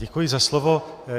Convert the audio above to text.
Děkuji za slovo.